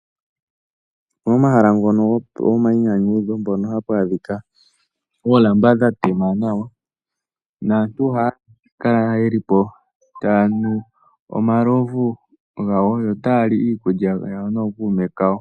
Momahala ngono gomainyanyudho mpono hapu adhika oolamba dha tema nawa naantu ohaya kala yeli po taya nu omalovu gawo ogendji, yo otaya li iikulya yawo nookuume kawo.